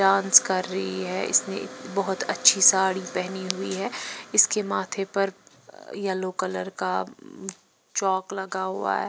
Dance कर रही है इसने बहुत अच्छी साड़ी पहनी हुई है इसके माथे पर येलो कलर का चौक लगा हुआ है।